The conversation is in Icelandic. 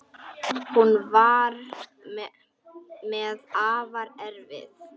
Hún var mér afar erfið.